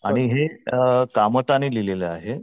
आणि हे कामता ने लिहलेलं आहे.